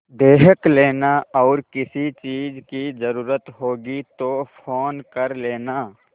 देख लेना और किसी चीज की जरूरत होगी तो फ़ोन कर लेना